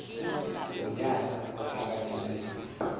ngunyana ophakathi womfundisi